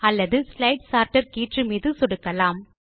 அல்லது slide sorter கீற்று மீது சொடுக்கலாம்